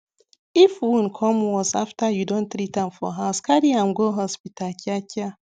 if wound come worse after you don treatam for house carryam go hospital kia kia